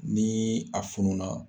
Ni a funu na.